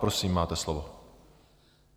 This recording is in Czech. Prosím, máte slovo.